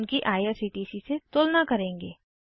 उनकी आईआरसीटीसी से तुलना करेंगे